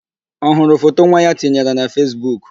Ọ hụrụ foto nwa ya tinyere na Fesbuk?